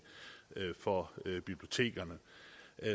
for bibliotekerne